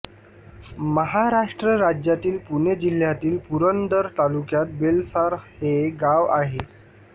महाराष्ट्र राज्यातील पुणे जिल्ह्यातील पुरंदर तालुक्यात बेलसार हे गाव आहे